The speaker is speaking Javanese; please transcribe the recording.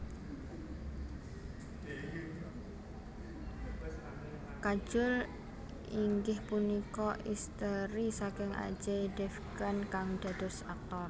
Kajol inggih punika isteri saking Ajay Devgan kang dados aktor